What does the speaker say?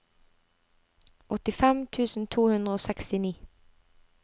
åttifem tusen to hundre og sekstini